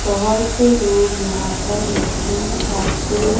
बोहोत से लोग यहां पर मछली काटते--